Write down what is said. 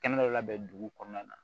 Kɛnɛ dɔ labɛn dugu kɔnɔna na